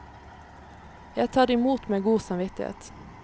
Jeg tar imot med god samvittighet.